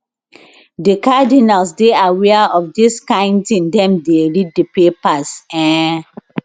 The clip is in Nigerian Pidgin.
di cardinals dey aware of dis kain tin dem dey read di papers um